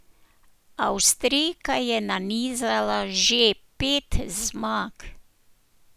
Avstrijka je nanizala že pet zmag.